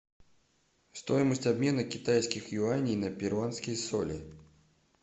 стоимость обмена китайских юаней на перуанские соли